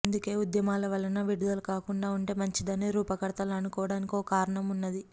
అందుకే ఉద్యమాల వలన విడుదల కాకుండా ఉంటె మంచిందని రూపకర్తలు అనుకోవడానికి ఓ కారణం ఉన్నది